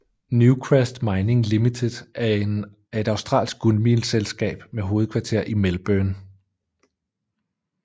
Newcrest Mining Limited er et australsk guldmineselskab med hovedkvarter i Melbourne